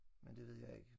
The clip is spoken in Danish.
Men det ved jeg ikke